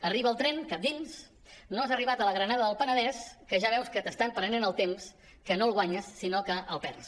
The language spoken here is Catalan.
arriba el tren cap dins no has arribat a la granada del penedès que ja veus que t’estan prenent el temps que no el guanyes sinó que el perds